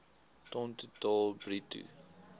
ton totaal bruto